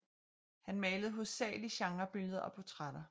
Han malede hovedsageligt genrebilleder og portrætter